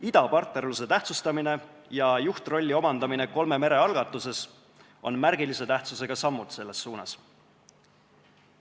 Idapartnerluse tähtsustamine ja juhtrolli omandamine kolme mere algatuses on märgilise tähtsusega sammud selles suunas.